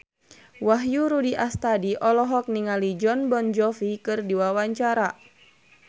Wahyu Rudi Astadi olohok ningali Jon Bon Jovi keur diwawancara